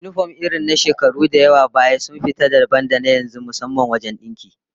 Yinifom irin na shekaru da yawa baya sun fita dabam da yanzu, musamman wajen dinki